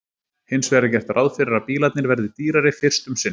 hins vegar er gert ráð fyrir að bílarnir verði dýrari fyrst um sinn